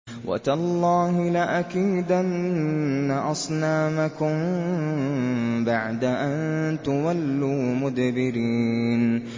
وَتَاللَّهِ لَأَكِيدَنَّ أَصْنَامَكُم بَعْدَ أَن تُوَلُّوا مُدْبِرِينَ